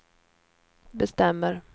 bestämmer